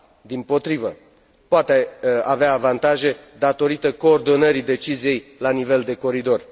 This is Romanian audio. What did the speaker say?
Dimpotrivă, poate avea avantaje, datorită coordonării deciziei la nivel de coridor.